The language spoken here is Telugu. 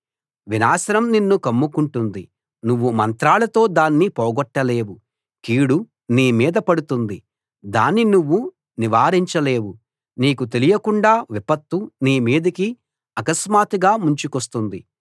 వినాశనం నిన్ను కమ్ముకుంటుంది నువ్వు మంత్రాలతో దాన్ని పోగొట్టలేవు కీడు నీ మీద పడుతుంది దాన్ని నువ్వు నివారించలేవు నీకు తెలియకుండా విపత్తు నీ మీదికి అకస్మాత్తుగా ముంచుకొస్తుంది